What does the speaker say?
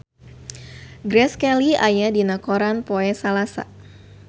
Grace Kelly aya dina koran poe Salasa